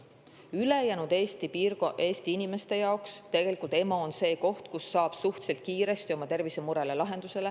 Ülejäänud Eesti inimeste jaoks on EMO tegelikult see koht, kus saab suhteliselt kiiresti oma tervisemurele lahenduse.